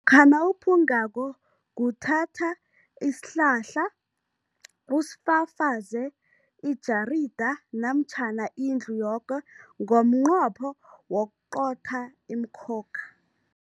nawuphungako, kuthatha isihlahla usifafaze ijarida namtjhana indlu yoke ngomnqopho wokuqotha imikhokha.